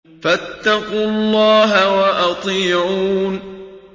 فَاتَّقُوا اللَّهَ وَأَطِيعُونِ